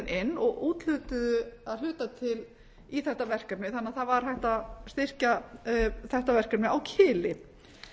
inn og úthlutuðu að hluta til í þetta verkefni þannig að það var hægt að styrkja þetta verkefni á kili